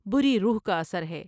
بری روح کا اثر ہے ۔